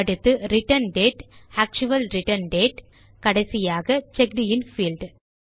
அடுத்து return date actual return date கடைசியாக checked in field